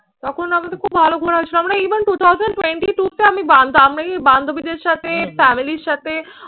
তখন আবার তো খুব ভালো ঘোরার সময় even two thousand twenty-two তে আমি আমি বান্ধবীদের সাথে family এর সাথে